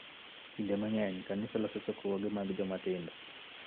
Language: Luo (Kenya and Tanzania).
Kinde mang�eny, kanisa loso chokruoge mag joma tindo